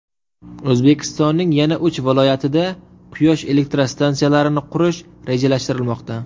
O‘zbekistonning yana uch viloyatida quyosh elektrostansiyalarini qurish rejalashtirilmoqda.